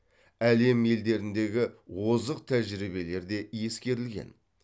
әлем елдеріндегі озық тәжірибелер де ескерілген